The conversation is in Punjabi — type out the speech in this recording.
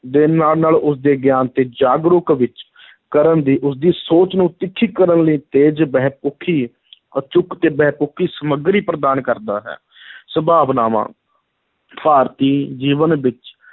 ਦੇ ਨਾਲ-ਨਾਲ ਉਸਦੇ ਗਿਆਨ ਅਤੇ ਜਾਗਰੂਕ ਵਿੱਚ ਕਰਨ ਦੀ ਉਸਦੀ ਸੋਚ ਨੂੰ ਤਿੱਖੀ ਕਰਨ ਲਈ ਤੇਜ਼, ਬਹੁਪੱਖੀ ਅਚੂਕ ਤੇ ਬਹੁਪੱਖੀ ਸਾਮਗਰੀ ਪ੍ਰਦਾਨ ਕਰਦਾ ਹੈ ਸੰਭਾਵਨਾਵਾਂ, ਭਾਰਤੀ ਜੀਵਨ ਵਿੱਚ